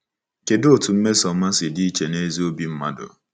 Kedụ otú mmesoọma si dị iche n’ezi obi mmadụ?